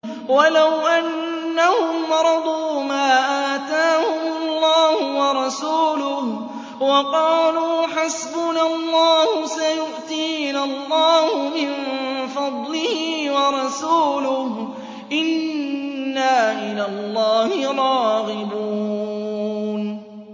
وَلَوْ أَنَّهُمْ رَضُوا مَا آتَاهُمُ اللَّهُ وَرَسُولُهُ وَقَالُوا حَسْبُنَا اللَّهُ سَيُؤْتِينَا اللَّهُ مِن فَضْلِهِ وَرَسُولُهُ إِنَّا إِلَى اللَّهِ رَاغِبُونَ